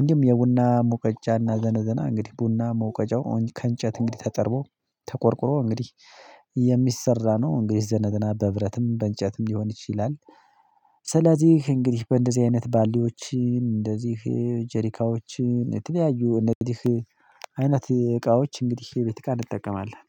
እንዲሁም የቡና ሙቀጫና ዘነዘና እንግዲህ ቡና መውቀጫው ከእንጨት እንግዲህ ተጠርቦ ተቆርቁሮ እንግዲህ የሚሰራ ነው። እንግዲህ ዘነዘና በብረትም በእንጨትም ሊሆን ይችላል። ስለዚህ እንግዲህ በእንደዚህ አይነት ባልዲዎችን እንደዚህ ጀሪካዎችን የተለያዩ እንደዚህ አይነት እቃዎች እንግዲህ የቤት እቃ እንጠቀማለን